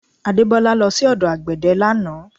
Adebola lọ sí ọdọ àgbẹ̀dẹ̀ lánàá